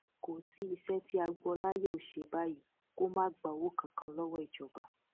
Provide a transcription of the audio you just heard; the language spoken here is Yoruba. kò sí iṣẹ tí agboola yóò ṣe báyìí kó má gba owó kankan lọwọ ìjọba